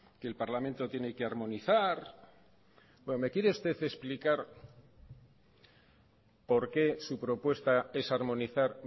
que el parlamento tiene que armonizar bueno me quiere usted explicar por qué su propuesta es armonizar